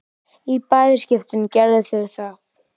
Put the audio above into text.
Í bæði skiptin gerðu þau það.